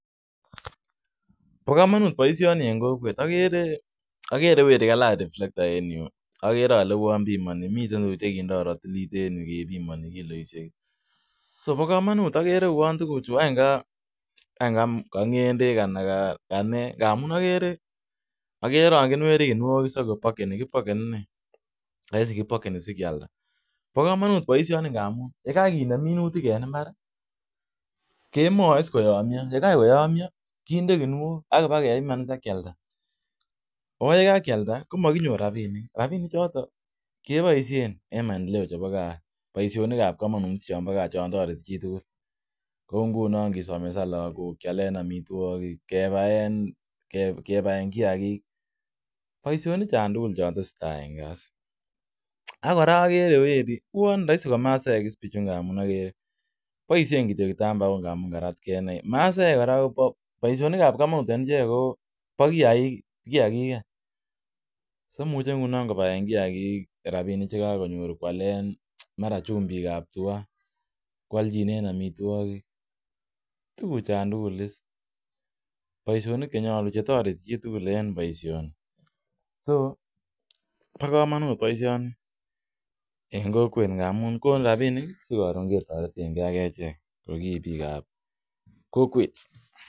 Bo kamanut boisioni en kokwet. Agere weri kalach riflekta en yu agere ale uon bimani, miten tuguk che kepimani kindo ratilit en yu kepimani kiloisiek. Sobokamanut agere uon tuguchu ngwany kangendek ana kanee. Agere rongyin werin kuniok is ak kopakeni. Kipakeni innei. Raisi kipokeni sikialda. Bo kamanut boisioni ngamun yekakinem minutik en imbar kemoeis koyomwio. Yekakoyomia kinde kuniok, kepiman is ak kialda. Oo yekakialda komakinyor rapinik. Rapinichoto keboisien en maendeleo chebo kaa any. Boisionikab kamanut chon toreti chitugul kou ngunon kisomesanen lagok, kialen amitwogik, kepaen kiagik. Boisioni chon tugul chon teseta en kaa is ak kora agere weri, uon raisi ko masaekis biichu ngamun agere boisien kityo kitambaok ngamun karatke innei. Maasaek korako boisionik ab masaek kobo kiagik any. Soimuche ngunon kobaen kiagik rapinik che kakonyor kwalen mara chumbikab tua, kwalchinen amitwogik. Tuguchon tugul is. Boisionik che toreti chitugul is en boisioni. So bo kamanut boisioni en kokwet ngamun konu rapinik sikorun ketorenge ak echek ko kibiik ab kokwet.